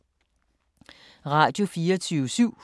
Radio24syv